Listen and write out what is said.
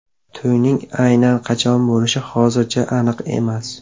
To‘yning aynan qachon bo‘lishi hozircha aniq emas.